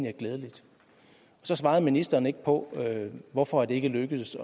er glædeligt så svarede ministeren ikke på hvorfor det ikke er lykkedes